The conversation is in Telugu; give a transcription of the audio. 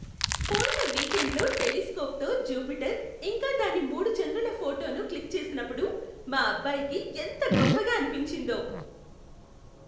పోయిన వీకెండ్లో టెలిస్కోప్తో జూపిటర్, ఇంకా దాని మూడు చంద్రుల ఫోటోను క్లిక్ చేసినప్పుడు మా అబ్బాయికి ఎంత గొప్పగా అనిపించిందో.